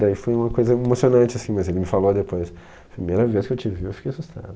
Daí foi uma coisa emocionante, assim mas ele me falou depois, primeira vez que eu te vi eu fiquei assustado.